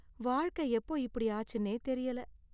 வாழ்க்கை எப்போ இப்படி ஆச்சுன்னே தெரியல.